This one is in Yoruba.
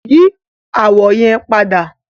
Yi awọ yẹn pada!